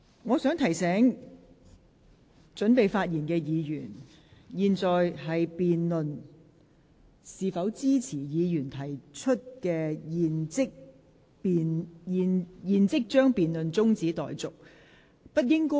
我想提醒準備發言的議員，本會現在是辯論是否支持由毛孟靜議員提出"現即將辯論中止待續"的議案。